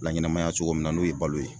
Laɲɛnɛmaya cogo min na n'o ye balo ye